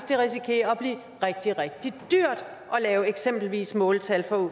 det risikerer at blive rigtig rigtig dyrt at lave eksempelvis måltal